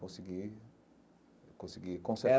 Consegui eu consegui conser.